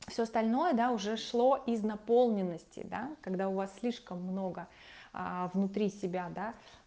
все остальное да уже шло из наполненности да когда у вас слишком много внутри себя да